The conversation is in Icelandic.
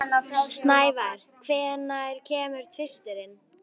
Snævar, hvenær kemur tvisturinn?